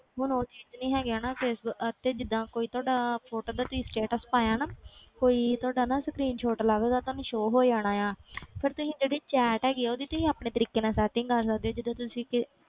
ਹੁਣ ਉਹ ਚੀਜ਼ ਨੀ ਹੈਗੀ ਹਨਾ ਫੇਸਬੁ~ ਤੇ ਜਿੱਦਾਂ ਕੋਈ ਤੁਹਾਡਾ photo ਦਾ ਤੁਸੀਂ status ਪਾਇਆ ਨਾ ਕੋਈ ਤੁਹਾਡਾ ਨਾ screenshot ਲੱਗਦਾ ਤੁਹਾਨੂੰ show ਹੋ ਜਾਣਾ ਆਂ ਫਿਰ ਤੁਸੀਂ ਜਿਹੜੀ chat ਹੈਗੀ ਹੈ ਉਹਦੀ ਤੁਸੀਂ ਆਪਣੇ ਤਰੀਕੇ ਨਾਲ setting ਕਰ ਸਕਦੇ ਹੋ ਜਿੱਦਾਂ ਤੁਸੀਂ ਕਿ~